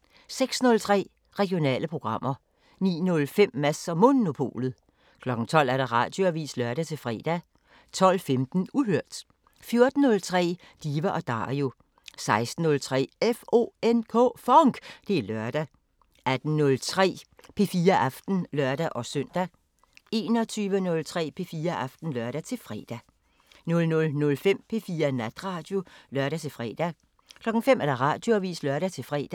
06:03: Regionale programmer 09:05: Mads & Monopolet 12:00: Radioavisen (lør-fre) 12:15: Uhørt 14:03: Diva & Dario 16:03: FONK! Det er lørdag 18:03: P4 Aften (lør-søn) 21:03: P4 Aften (lør-fre) 00:05: P4 Natradio (lør-fre) 05:00: Radioavisen (lør-fre)